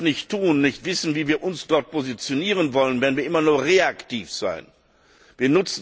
Wenn wir das nicht tun, nicht wissen, wie wir uns dort positionieren wollen, werden wir immer nur reaktiv handeln.